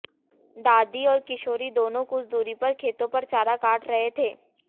दादी और किशोरी दोनों कुछ दूरी पर खेतों पर चारा काट रहे थे